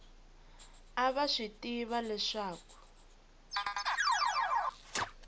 a va swi tiva leswaku